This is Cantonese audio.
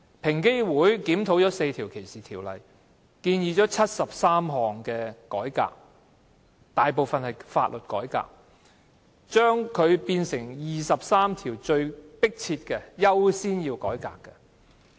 平機會檢討了4項歧視條例，提出了73項改革建議，當中大部分是法律改革，並識別出23項最為迫切及最需要優先進行的改革的建議。